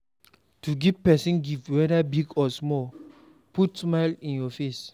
To give persin gift whether big or small de put smile for in face